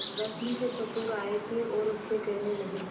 रश्मि के ससुर आए थे और उससे कहने लगे